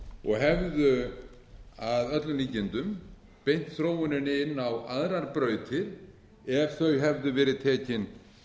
og hefðu að öllum líkindum beint þróuninni inn á aðrar brautir ef þau hefðu verið tekin